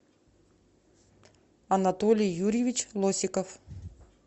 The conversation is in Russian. анатолий юрьевич носиков